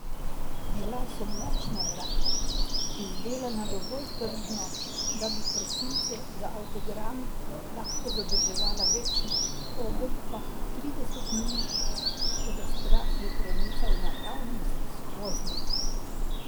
Bila so močna vrata, izdelana dovolj trdno, da bi prosilce za avtogram lahko zadrževala večno, ogenj pa trideset minut, toda strah je pronical naravnost skoznje.